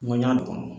Ŋɔna